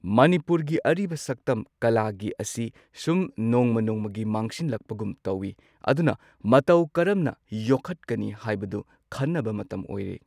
ꯃꯅꯤꯄꯨꯔꯒꯤ ꯑꯔꯤꯕ ꯁꯛꯇꯝ ꯀꯂꯥꯒꯤ ꯑꯁꯤ ꯁꯨꯝ ꯅꯣꯡꯃ ꯅꯣꯡꯃꯒꯤ ꯃꯥꯡꯁꯤꯜꯂꯛꯄꯒꯨꯝ ꯇꯧꯏ ꯑꯗꯨꯅ ꯃꯇꯧ ꯀꯔꯝꯅ ꯌꯣꯛꯈꯠꯀꯅꯤ ꯍꯥꯏꯕꯗꯨ ꯈꯟꯅꯕ ꯃꯇꯝ ꯑꯣꯏꯔꯦ꯫